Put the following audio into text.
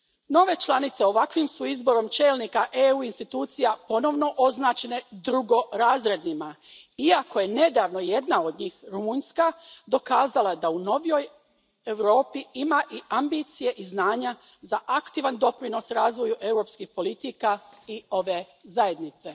Nove članice ovakvim su izborom čelnika EU institucija ponovno označene drugorazrednima, iako je nedavno jedna od njih, Rumunjska, dokazala da u novijoj Europi ima i ambicije i znanja za aktivan doprinos razvoju europskih politika i ove zajednice.